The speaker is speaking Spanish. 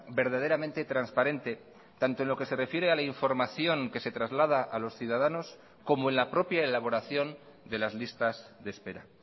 verdaderamente transparente tanto en lo que se refiere a la información que se traslada a los ciudadanos como en la propia elaboración de las listas de espera